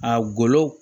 A golo